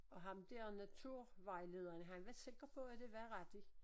Og ham der naturvejlederen han var sikker på at det var rigtigt